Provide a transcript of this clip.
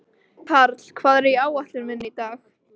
Karli, hvað er á áætluninni minni í dag?